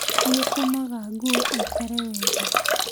Nĩ ũtũmaga nguo ĩikare wega